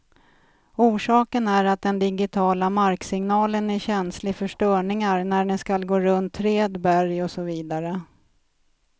Orsaken är att den digitiala marksignalen är känslig för störningar när den skall gå runt träd, berg och så vidare.